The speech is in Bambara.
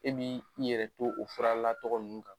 E m'i yɛrɛ to o faralatgɔ ninnu kan.